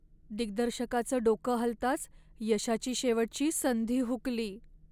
दिग्दर्शकाचं डोकं हलताच यशाची शेवटची संधी हुकली.